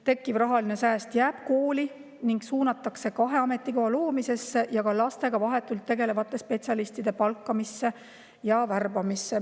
Tekkiv rahaline sääst jääb kooli ning suunatakse kahe ametikoha loomisesse ja ka lastega vahetult tegelevate spetsialistide värbamisse ja palkamisse.